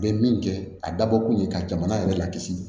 U bɛ min kɛ a dabɔ kun ye ka jamana yɛrɛ lakisi